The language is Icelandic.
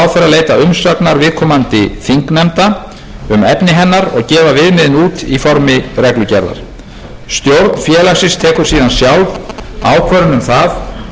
leita umsagnar viðkomandi þingnefnda um efni hennar og gefa viðmiðin út í formi reglugerðar stjórn félagsins tekur síðan sjálf ákvörðun um það á grundvelli hinna almennu viðmiða